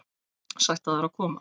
Sætt af þér að koma.